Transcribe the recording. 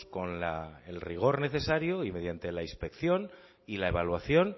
con el rigor necesario y mediante la inspección y la evaluación